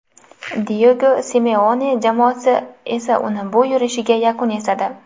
Diyego Simeone jamoasi esa uning bu yurishiga yakun yasadi.